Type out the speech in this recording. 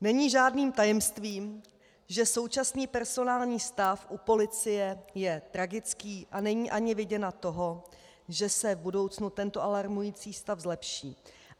Není žádným tajemstvím, že současný personální stav u policie je tragický a není ani vidina toho, že se v budoucnu tento alarmující stav zlepší.